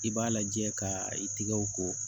I b'a lajɛ ka i tigɛw ko